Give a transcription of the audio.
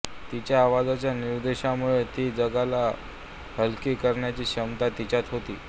तिच्या आवाजाच्या निर्दोषतेमुळे ती जगाला हलकी करण्याची क्षमता तिच्यात होती